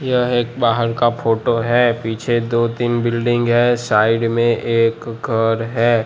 यह एक बाहर का फोटो है पीछे दो तीन बिल्डिंग है साइड में एक घर है।